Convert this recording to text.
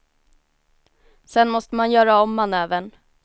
Sen måste man göra om manövern.